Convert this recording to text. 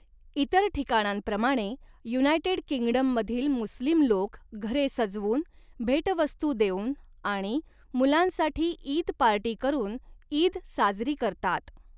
इतर ठिकाणांप्रमाणे, युनायटेड किंगडममधील मुस्लिम लोक घरे सजवून, भेटवस्तू देऊन आणि मुलांसाठी ईद पार्टी करून ईद साजरी करतात.